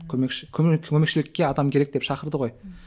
көмекші көмекшілікке адам керек деп шақырды ғой ммм